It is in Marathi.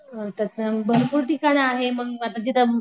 आता त म भरपूर ठिकाण आहे मग आता जिथं